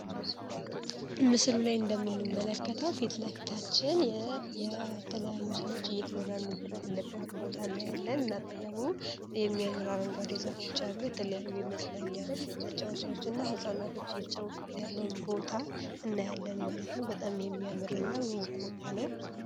ምስሉ ላይ እንደምንመለከታው ፊት ለፊታችን የተለያዩ ሰዎች እየተዝናኑበት ያለበት ቦታ እናያለን እና ጠገሙ የሚያምራርን አረጓዴ የዛፎች ያሉ የተለያዩ የመዝናኛ መጫዎቻዎች እና ሀፃናቶች እየተጫውስበት ያለውን ቦታ እናያለን ማለት ነው። በጣም የሚያምረ እና ውብ ቦታ ነው።